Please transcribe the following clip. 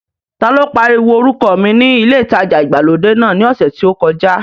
Ta ló pariwo orúkọ mi ní ilé ìtajà ìgbàlódé náà ní ọ̀sẹ̀ tí ó kọjá?